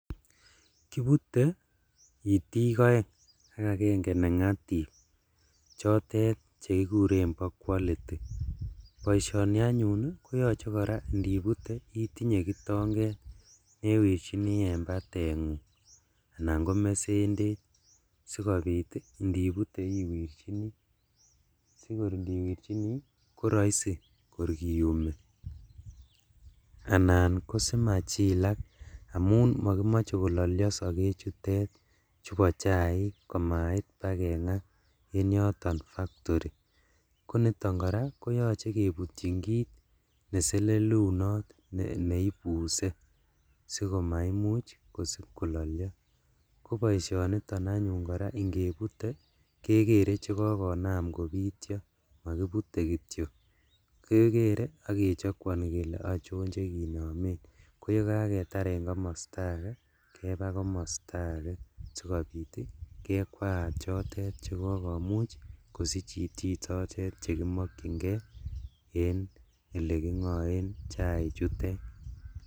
Kibute itik oeng ak agenge nengatib chotet chekikuren bo quality boisioni anyun koraa koyoche indibute itinyee kitonget newirjini en batengung anan komesendet sikobit indibute iwirjini sikor indieirjini koroisi kor kiumi, anan kosimachilak amun moikimoche kololyo sokechutet chubo chaik komaut baa kengaa en yoton [cs[factory, koniton koraa koyoche kebutchin kit neselelunot neibuse sikomaimuch kosib kololyo, koboisioniton anyun ingebute kekere chekokonam kobityo mokibute kityok, kekere ak kechokwoni kele ochon chekinomen koyekaketar en komosto ake kebaa komosto ake sikobit kekwaat chotet chekokomuch kosich itik chotet chekimokchingee en elekingoen chaichutet.